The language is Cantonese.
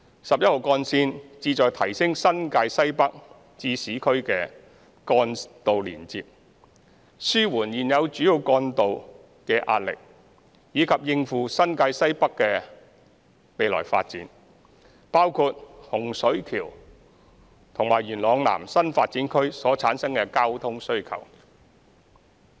十一號幹線旨在提升新界西北至市區的幹道連接，紓緩現有主要幹道的壓力，以及應付新界西北的未來發展，包括洪水橋及元朗南新發展區所產生的交通需求。